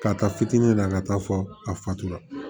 Ka taa fitini na ka taa fɔ a fatuma